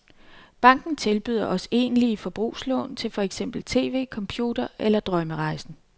Banken tilbyder også egentlige forbrugslån til for eksempel tv, computer eller drømmerejsen.